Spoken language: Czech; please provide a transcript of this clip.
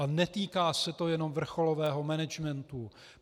A netýká se to jenom vrcholového managementu.